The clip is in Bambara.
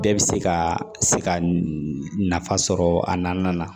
Bɛɛ bɛ se ka se ka nafa sɔrɔ a na